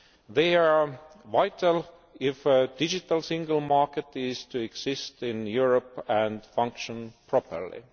They are vital if a Digital Single Market is to exist in Europe and function properly.